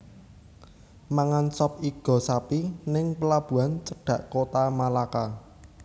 Mangan sop igo sapi ning pelabuhan cedhak Kota Malaka